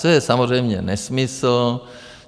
To je samozřejmě nesmysl.